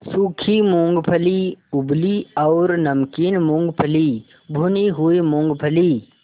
सूखी मूँगफली उबली और नमकीन मूँगफली भुनी हुई मूँगफली